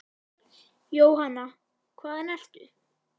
Jóhanna: Hvaðan ertu?